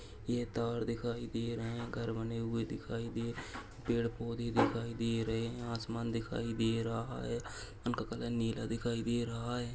यह तार दिखाई दे रहे है घर बने हुए दिखाई दे पेड़ पौधे दिखाई दे रहे है असमान दिखाई दे रहा है उनका कलर नीला दिखाई दे रहा है।